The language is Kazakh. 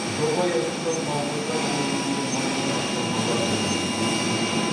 жоба аясында павлодар өңірінде мыңнан астам бала білімін жетілдіруде